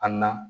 An na